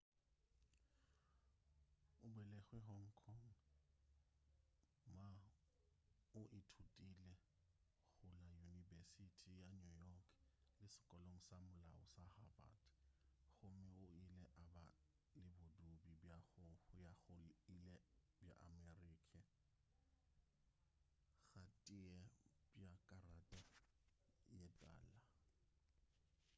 o belegwe hong kong ma o ithutile go la yunibesithi ya new york le sekolong sa molao sa harvard gomme o ile a ba le bodudi bja go ya go ile bja amerika ga tee bja karata ye tala